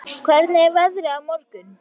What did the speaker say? Þeódís, hvernig er veðrið á morgun?